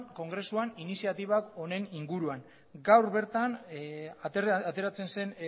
kongresuan iniziatibak honen inguruan gaur bertan ateratzen zen